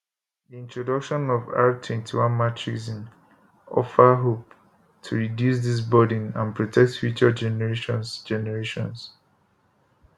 di introduction of r21matrixm offer hope to reduce dis burden and protect future generations generations